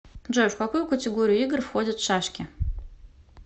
джой в какую категорию игр входят шашки